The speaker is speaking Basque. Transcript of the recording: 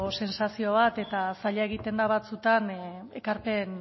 sentsazio bat eta zaila egiten da batzuetan ekarpen